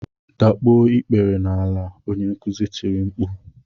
Dakpuo ikpere n'ala, onye nkuzi tiri mkpu!